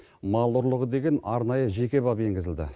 мал ұрлығы деген арнайы жеке бап енгізілді